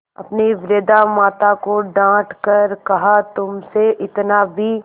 अपनी वृद्धा माता को डॉँट कर कहातुमसे इतना भी